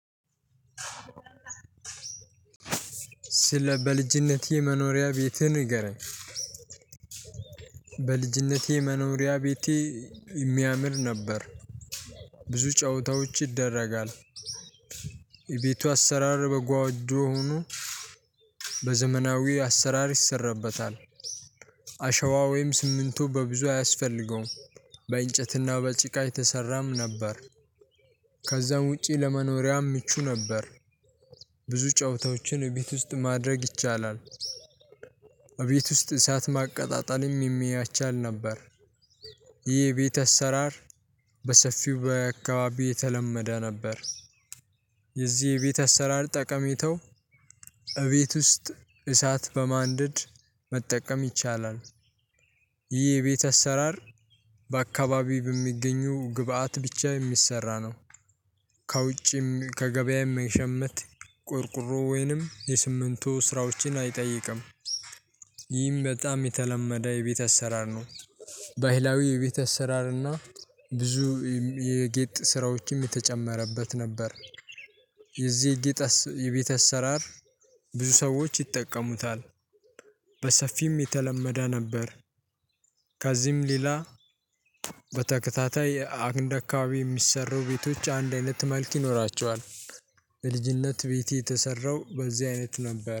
ስለ በልጅነት የመኖሪያ ቤትህን ንገረኝ? በልጅነቴ መኖሪያ ቤቴ የሚያምር ነበር። ብዙ ጨዋታዎች ይደረጋል። የቤቱ አሰራር በጎጆ ሆኖ በዘመናዊ አሰራር ይሰራበታል። አሸዋ ወይም ሲሚንቶ በብዙ አያስፈልገውም። በእንጨትና በጭቃ የተሰራም ነበር። ከዛም ውጪ ለመኖሪያ ምቹ ነበር። ብዙ ጨዋታዎችን እቤት ውስጥ ማድረግ ይቻላል። እቤት ውስጥ እሳት ማቀጣጠልም የሚያቻል ነበር። ይህ የቤት አሰራር በሰፊው በአካባቢው የተለመደ ነበር። የዚህ የቤት አሰራር ጠቀሜተው እቤት ውስጥ እሳት በማንደድ መጠቀም ይቻላል። ይህ የቤት አሰራር በአካባቢ በሚገኙ ግብአት ብቻ የሚሰራ ነው። ከውጭም ከገበያም መሸመት ቆርቆሮ ወይንም የስምንቱ ስራዎችን አይጠይቅም። ይህም በጣም የተለመደ የቤት እሰራር ነው። ባህላዊ የቤት አሰራር እና ብዙ የጌጥ ስራዎችም የተጨመረበት ነበር። የዚህ የቤት አሰራር ብዙ ሰዎች ይጠቀሙታል በሰፊም የተለመደ ነበር። ከዚህም ሌላ በተከታታይ አንድ አካባቢ የሚሰሩ ቤቶች አንድ አይነት መልክ ይኖራቸዋል። የልጅነት ቤቴ የተሰራው በዚህ አይነት ነበር